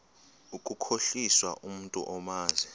ukukhohlisa umntu omazi